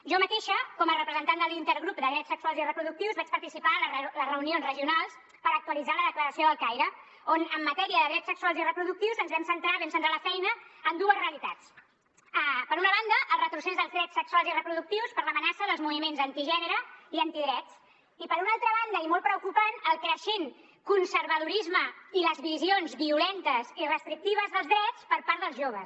jo mateixa com a representant de l’intergrup de drets sexuals i reproductius vaig participar en les reunions regionals per actualitzar la declaració del caire on en matèria de drets sexuals i reproductius ens vam centrar vam centrar la feina en dues realitats per una banda el retrocés dels drets sexuals i reproductius per l’amenaça dels moviments antigènere i antidrets i per una altra banda i molt preocupant el creixent conservadorisme i les visions violentes i restrictives dels drets per part dels joves